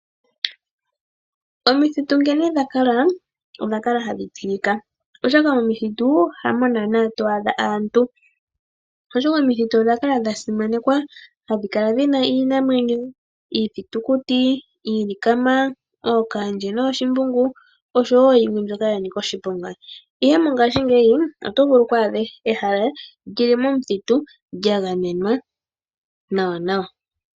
Omithitu nkene dha kala, odha kala hadhi tilika oshoka momithitu hamo naana to adha aantu. Oshoka omithitu odha kala dha simanekwa, hadhi kala dhi na iinamwenyo, iithitukuti, iilikama, ookaandje nooshimbungu, oshowo yimwe mbyoka ya nika oshiponga. Ihe mongashingeyi oto vulu oku adha ehala lyi li momuthitu lya gamenwa nawanawa.